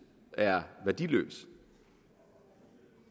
er værdiløs